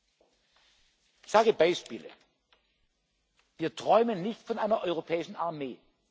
Ich nenne Beispiele Wir träumen nicht von einer europäischen Armee.